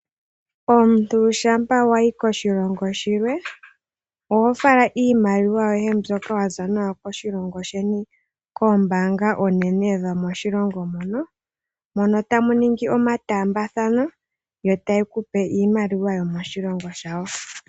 Omuntu shampa wayi koshilongo shimwe oho fala iimaliwa yoye mbyoka waza nayo koshilongo sheni koombaanga oonene dhomoshilongo mono, mono tamu ningi omataambathano yo taye ku pe iimaliwa yomoshilongo shawo.